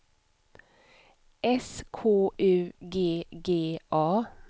S K U G G A